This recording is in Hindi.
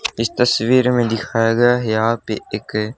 इस तस्वीर में दिखाया गया है यहां पे एक--